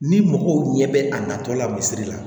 Ni mɔgɔw ɲɛ bɛ a natɔla misisiri la